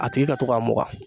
A tigi ka to k'a mugan